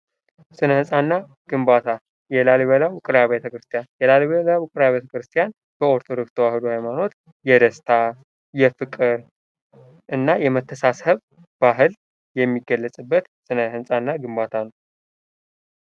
"ስነ ህንፃና ግንባታ የላሊበላ ውቅርያአብያተ ቤተክርስቲያን፣ የላሊበላ ውቅርአብያተ ቤተክርስቲያን:- በኦርቶዶክስ ተዋህዶ ሃይማኖት የደስታ፣ የፍቅር እና የመተሳስሰብ ባህል የሚገለጽበት ስነህንፃና ግንባታ ነው።"